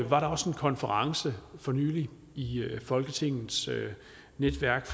var der også en konference for nylig i folketingets netværk